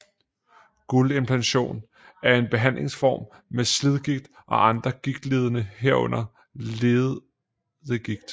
Guldimplantation er en behandlingsform mod slidgigt og andre gigtlidelser herunder leddegigt